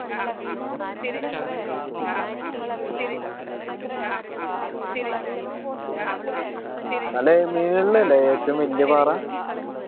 അതില് അല്ലെ ഏറ്റവും വെല്യ പാറ